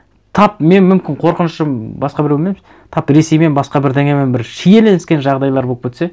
тап мен мүмкін қорқынышым басқа біреумен тап ресеймен басқа бірдеңемен бір шиеленіскен жағдайлар болып кетсе